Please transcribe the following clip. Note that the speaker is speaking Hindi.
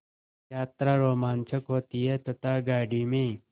यात्रा रोमांचक होती है तथा गाड़ी में